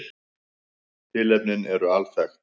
Tilefnin eru alþekkt